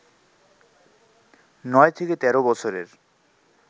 নয় থেকে তের বছরের